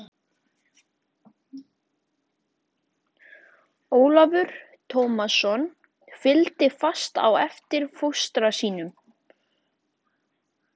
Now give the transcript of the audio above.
Ólafur Tómasson fylgdi fast á eftir fóstra sínum.